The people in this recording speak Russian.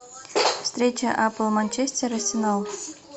встреча апл манчестер арсенал